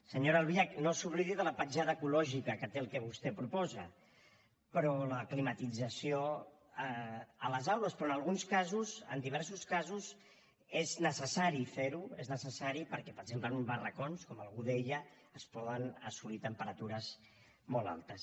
senyora albiach no s’oblidi de la petjada ecològica que té el que vostè proposa la climatització a les aules però en alguns casos en diversos casos és necessari fer ho és necessari perquè per exemple en uns barracons com algú deia es poden assolir temperatures molt altes